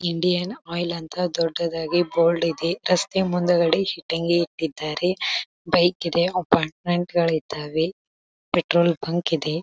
Indian oil ಅಂತ ದೊಡ್ಡದಾಗಿ board ಇದೆ ರಸ್ತೆ ಮುಂದ್ಗಡೆ ಇಟ್ಟಂಗೆ ಇಟ್ಟಿದ್ದಾರೆ ಬೈಕ್ ಇದೆ ಅಪಾರ್ಟ್ಮೆಂಟ್ ಗಾಳಿದಾವೆ ಪೆಟ್ರೋಲ್ ಬಂಕ್ ಇದೆ.